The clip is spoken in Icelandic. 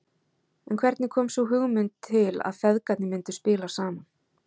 En hvernig kom sú hugmynd til að feðgarnir myndu spila saman?